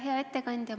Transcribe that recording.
Hea ettekandja!